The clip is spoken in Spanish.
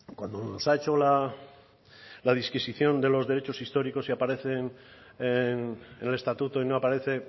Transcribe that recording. cuando nos ha hecho la disquisición de los derechos históricos y aparecen en el estatuto y no aparece